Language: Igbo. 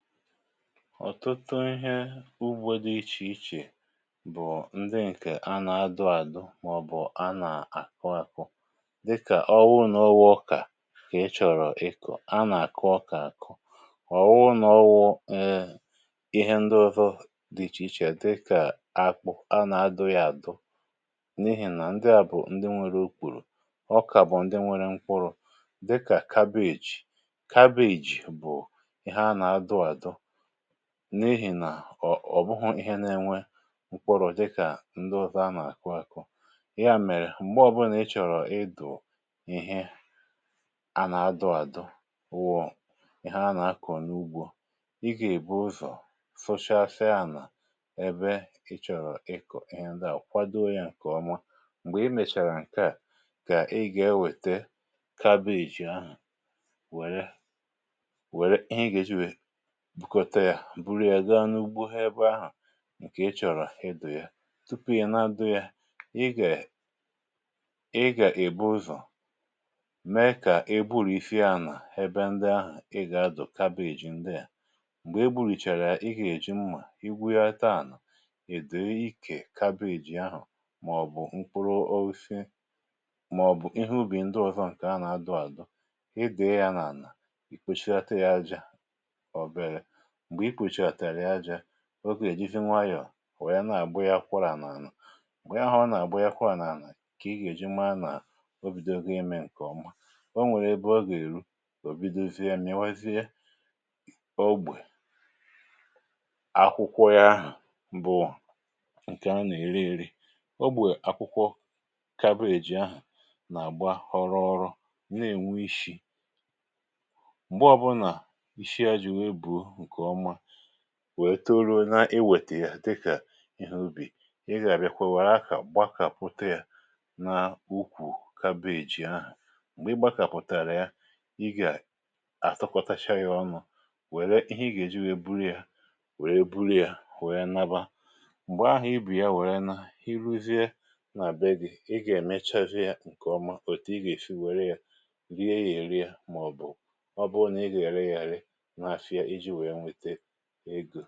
Ọtụtụ ihe ugbo di iàkọcdịkàhè ichè bụ̀ ndi ǹkè anà adu àdu màọbụ̀ anà-àkọ àkọ dịkà ọwụ n’ọwụ̇ ọkà kà e chọ̀rọ̀ ịkọ̀ anà àkọ ọkà mà ọwụ n’ọwụ̇ ee ihe ndi ụzọ dị̇ ichè ichè akpụ anà adụ̇ yȧ àdụ n’ihìnà ndi à bụ̀ ndi nwere ukwùrù, ọkà bụ̀ ndi nwere nkwụrụ dịkà kabeeji, kabeeji bụ ihe ànà-adụ adụ n’ihì nà ò ọ̀ bụhụ̇ ihe na-enwe mkpọrọ̀ dịkà ndi ụzọ̀ anà-àkọ akụ̇, ya mèrè m̀gbe ọ̀bụlà ịchọ̀rọ̀ ịdụ̀ ihe ànà adụ̇ àdụ wụ̀ ihe anà-akọ̀ n’ugbȯ, ị gà-èbu ụzọ̀ suchacha ànà ebe ịchọ̀rọ̀ ị kọ̀ ihe ndịà kwadoo ya ǹkèọma, m̀gbè ị mèchàrà ǹke à kà ị gà-ewète kabeeji ahụ̀ wère ihe ị ga-eji wee were bugote ya buru ya gaa n’ugbo ebe ahụ̀ ǹkè ichọ̀rọ̀ idù ya tupu ya nà-adọ ya, ị gà e ị gà èbu ụzọ̀ mee kà egburìsia anà ebe ndị ahụ̀ ị gà adụ̀ kabeeji ndị à m̀gbè egburìchàrà ya, ị gà èji mmȧ igwughata àna idù ikè kabeeji ahụ̀ màọ̀bụ̀ mkpuru osisi màọ̀bụ̀ ihe ubì ndị ọzọ ǹkè anà adụ àdụ, ịduyi ya n’ànà, ì kpochinata ya àjà, obee, mgbe ikppchinatara àjà ogè èjịzị nwayọ̀ wè na-àgba ya akwarà n’àlà, mgbe ahụ ọ na-agbanye akwara na ana, ka ịga-eji mara na obigo ime nke ọma, onwere ebe oge ruo, ò bidozie m̀iwazie ógbè, akwụkwọ ya ahụ̀ bụ̀ ǹkè a nà-ere ere, ogbè akwụkwọ kabeeji ahụ̀ nà-àgba ọroghọro nà-ènwe íshí mgbe obuna íshí ya buo nke ọma wèe toro na i wètè ya dịkà ihe ubì, ị gà-àbịakwa wère akà gbakàpụta ya na ukwù kabeeji ahụ̀ m̀gbè i gbakàpụ̀tàrà ya ị gà-àtụkwọtacha ya ọnụ̇ wère ihe ị gà-èji wee buru ya wère buru ya wère naba m̀gbè ahụ̀ ibù ya wère nȧa iruzie nà-ebe gị, i gà-èmechasia ya ǹkè ọma òtù ị gà-èsi wère ya rie ya èri màọbụ̀ ọ bụ̀ ọ bụrụ nà ị gà-ere yà ere na-àfịa ijì wee nwete ego.